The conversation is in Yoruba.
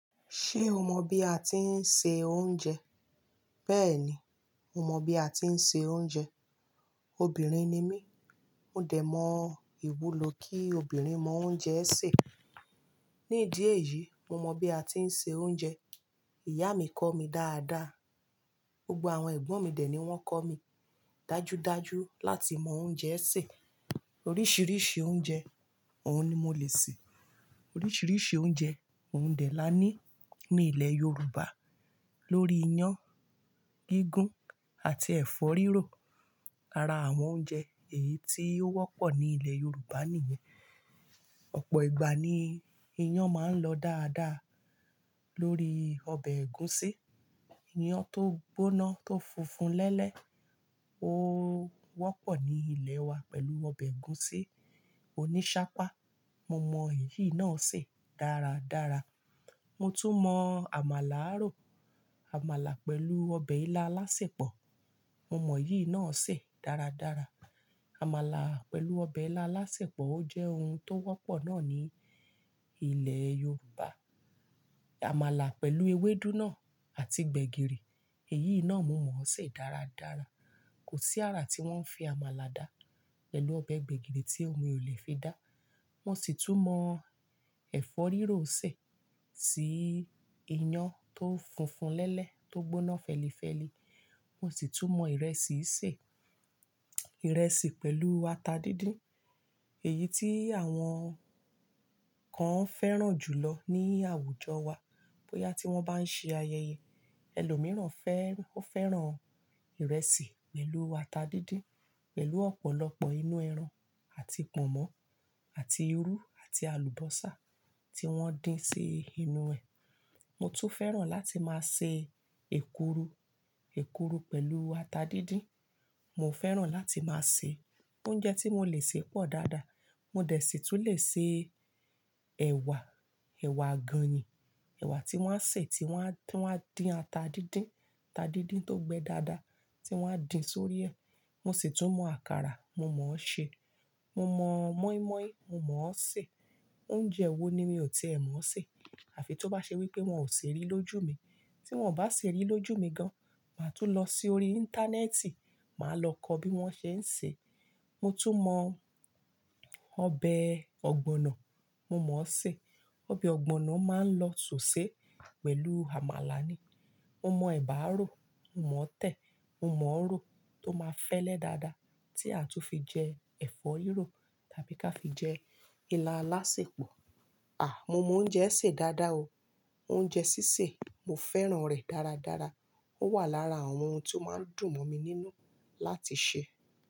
Ṣé o mọ bí a ti ń se oúnjẹ? Bẹ́ẹ̀ni, mo mọ bí a ti ń se oúnjẹ. Obìnrin ni mí, mo dẹ̀ mọ ìwúlò kí obìnrin mọ oúnjẹ ṣè. Ní ìdí èyí, mo mọ bí a ti ń se oúnjẹ. Ìyá mi kọ́ mi dáadáa. Gbogbo àwọn ẹ̀gbọ́n mi dẹ̀ ni wọ́n kọ́ mi dájúdájú láti mọ oúnjẹ ṣè. Oríṣiríṣi oúnjẹ, òun ni mo lè sè. Oríṣiríṣi oúnjẹ, òun dẹ̀ la ní ní ilẹ̀ Yorùbá. Lórí iyán, gígún àti ẹ̀fọ́ rírò. Ara àwọn oúnjẹ èyí tí ó wọ́pọ̀ ní ilẹ̀ Yorùbá nìyẹn. Ọ̀pọ̀ ìgbà ni iyán máa ń lọ dáadáa lórí ọbẹ̀ ẹ̀gúsí. Iyán tó gbóná tó funfun lẹ́lẹ́, ó wọ́pọ̀ ní ilẹ̀ wa pẹ̀lú ọbẹ̀ ẹ̀gúsí oníṣápá. Mo mọ èyí náà sè dáradára. Mo tún mọ àmàlà rò. Àmàlà pẹ̀lú ọbẹ̀ ilá alásèpọ̀. Mo mọ èyí náà sè dáradára. Àmàlà pẹ̀lú ọbẹ̀ ilá alásèpọ̀ ó jẹ́ oun tó wọ́pọ̀ náà ní ilẹ̀ Yorùbá. Àmàlà pẹ̀lú ewédú náà àti gbẹ̀gìrì, èyí náà mo mọ̀ ọ́ sè dáradára. Kò sí àrà tí wọ́n ń fi àmàlà dá pẹ̀lú ọbẹ̀ gbẹ̀gìrì tí òun ò lè fi dá. Mo sì tún mọ ẹ̀fọ́ rírò sè tí iyán tó funfun lẹ́lẹ́ tó gbóná fẹ́lifẹ́li. Mo sì tún mọ ìrẹsì sè. Ìrẹsì pẹ̀lú ata díndín. Èyí tí àwọn kan fẹ́ràn jùlọ ní àwùjọ wa bóyá tí wọ́n bá ń ṣe ayẹyẹ. Ẹ̀lọ́ mìíràn fẹ́-ó fẹ́ràn ìrẹsì pẹ̀lú ata díndín pẹ̀lú ọ̀pọ̀lọpọ̀ inú ẹran àti pọ̀nmọ́ àti irú àti alùbọ́sà tí wọ́n dín sí inú ẹ̀. Mo tún fẹ́ràn láti máa ṣe èkuru. Èkuru pẹ̀lú ata díndín. Mo fẹ́ràn láti máa sè. Oúnjẹ tí mo lè sè pọ̀ dáadáa. Mo dẹ̀ sì tún lè se ẹ̀wà, ẹ̀wà ganyìn. Ẹ̀wà tí wọ́n á sè, tí wọ́n á, tí wọ́n á dín ata díndín, ata díndín tó gbẹ dáadáa tí wọ́n á dín sórí ẹ̀. Mo sì tún mọ àkàrà, mo mọ̀ ọ́ sè. Mo mọ mọ́ímọ́í, mo mọ̀ ọ́ sè. Oúnjẹ wo ni mi ò tìẹ́ mọ̀ ọ́ sè àfi tó bá ṣe wí pé wọn ò ṣe rí lójú mi. Tí wọ́n ò bá ṣe rí lójú mi gan, màá tún lọ sí orí Íńtánẹ́ẹ̀tì, màá lọ kọ́ bí wọ́n ṣe ń sè é. Mo tún mọ ọbẹ̀ ọ̀gbọ̀nọ̀, mo mọ̀ ọ́ sè. Ọbẹ̀ ọ̀gbọ̀nọ̀ máa ń lọ sọ̀sẹ̀ pẹ̀lú àmàlà ni. Mo mọ ẹ̀bà rò, mo mọ̀ ọ́ tẹ̀, mo mọ̀ ọ́ rò tó máa fẹ́lẹ́ dáadáa tí a tún fi jẹ ẹ̀fọ́ rírò tàbí ká fi jẹ ilá alásèpọ̀. À! Mo mọ oúnjẹ sè dáadáa o. Oúnjẹ sísè, mo fẹ́ràn rẹ̀ dáradára. Ó wà lára àwọn oun tí ó máa ń dùn mọ́ mi nínú láti ṣe.